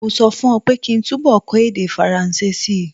Mo sọ fún ọ pé kí túnbọ̀ kọ́ èdè Faransé si.